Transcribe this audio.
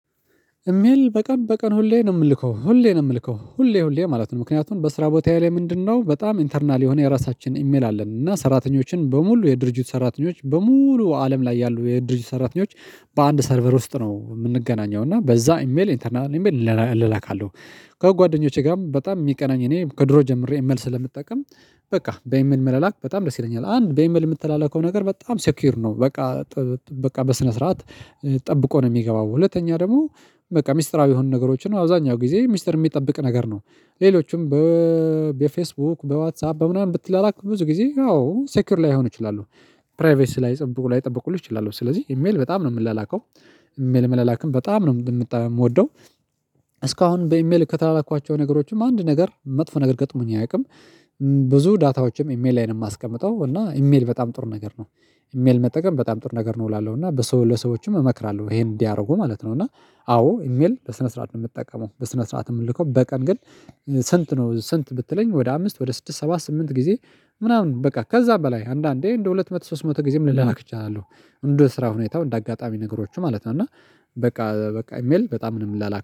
እሜል በቀን በቀን ሁሌ ነው የምልከው ሁሌ ነው የምልከው ሁሌ ሁሌ ማለት ነው። ምክንያቱም በስራ ቦታ ላይ ምንድነው በጣም ኢንተርናል የሆነ የራሳችን ኢሜል አለን። እና ሰራተኞችን በሙሉ የድርጅት ሰራተኞች በሙሉ አለም ላይ ያሉ የድርጅት ሰራተኞች በአንድ ሰርቨር ውስጥ ነው የምንገናኘው እና በዛ ኢሜል ኢንተርናል ኢሜል ለላካለሁ። ከጓደኞቼ ጋርም በጣም የሚቀናኝ እኔ ከድሮ ጀምሬ ኢሜል ስለምጠቀም። በቃ በኢሜል መለላክ በጣም ደስ ይለኛል። አንድ በኢሜል የምትላለከው ነገር በጣም ሴኩር ነው በቃ። በቃ በስነ ስርዓት ጠብቆ ነው የሚገባው። ሁለተኛ ደግሞ በቃ ሚስጥራዊ የሆኑ ነገሮችን አብዛኛው ጊዜ ሚስጥር የሚጠብቅ ነገር ነው። ሌሎችም በፌስቡክ በዋትሳፕ በምናምን ብትላላክ ብዙ ጊዜ ያው ሴኩር ላይሆን እችላለሁ። ፕራይቬስ ላይጠብቁ ላይጠብቁ ይችላሉ። ስለዚህ ኢሜል በጣም ነው የምላላከው። ኢሜል መላላክም በጣም ነው የምወደው። እስካሁን በኢሜል ከተላላኳቸው ነገሮችም አንድ ነገር መጥፎ ነገር ገጥሞኝ አያውቅም። ብዙ ዳታዎችም ኢሜል ላይ ነው የማስቀምጠው እና ኢሜል በጣም ጥር ነገር ነው። ኢሜል መጠቀም በጣም ጥር ነገር ነው እላለሁ እና በሰው ለሰዎችም እመክራለሁ ይሄን እንዲያደርጉ ማለት ነው። እና አዎ ኢሜል ለስነ ስርዓት ነው የምትጠቀመው። በስነ ስርዓት የምትልከው። በቀን ግን ስንት? ነው ስንት ብትለኝ ወደ አምስት ወደ ስድስት ሰባ ስምንት ጊዜ ምናምን በቃ ከዛ በላይ አንዳንዴ እንደ ሁለት መቶ ሶስት መቶ ጊዜም ልላላክ እችላለሁ። እንደ ስራ ሁኔታው እንደ አጋጣሚ ነገሮች ማለት ነው። እና በቃ በቃ ኢሜል በጣም ነው የምላላክ